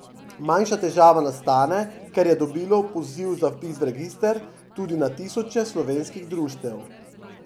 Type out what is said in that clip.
Manjša težava nastane, ker je dobilo poziv za vpis v register tudi na tisoče slovenskih društev.